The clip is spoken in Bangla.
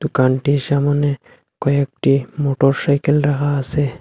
দোকানটির সামোনে কয়েকটি মোটরসাইকেল রাখা আসে।